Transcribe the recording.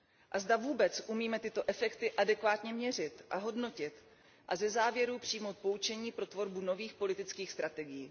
A zda vůbec umíme tyto efekty adekvátně měřit a hodnotit a ze závěrů přijmout poučení pro tvorbu nových politických strategií.